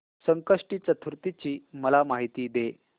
संकष्टी चतुर्थी ची मला माहिती दे